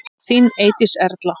Þín Eydís Erla.